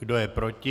Kdo je proti?